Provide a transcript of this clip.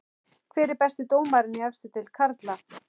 Hver er besti dómarinn í efstu deild karla?